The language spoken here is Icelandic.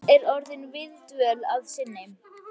Þetta er orðin góð viðdvöl að sinni.